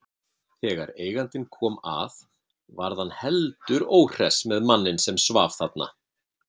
Þegar eigandinn kom að varð hann heldur óhress með manninn sem svaf þarna.